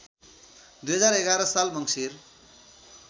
२०११ साल मङ्सिर